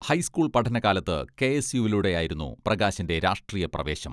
High school പഠനകാലത്ത് കെ.എസ്.യുവിലൂടെയായിരുന്നു പ്രകാശിന്റെ രാഷ്ട്രീയ പ്രവേശം.